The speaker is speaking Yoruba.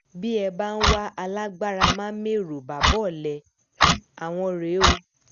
bí ẹ bá ń wá alágbára má mẹ̀rọ bàbá ọ̀lẹ àwọn rèé o